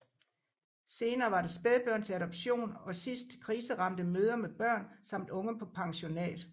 Senere var det spædbørn til adoption og sidst kriseramte mødre med børn samt unge på pensionat